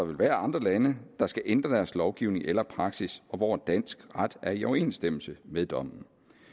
vil være andre lande der skal ændre deres lovgivning eller praksis og hvor dansk ret er i overensstemmelse med dommen